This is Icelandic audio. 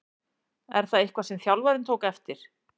Er það eitthvað sem þjálfarinn tók eftir?